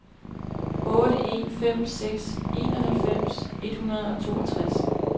otte en fem seks enoghalvfems et hundrede og toogtres